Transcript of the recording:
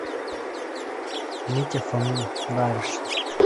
митя фомин нравишься